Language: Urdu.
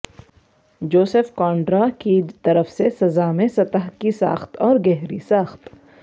جوزف کونڈرا کی طرف سے سزا میں سطح کی ساخت اور گہری ساخت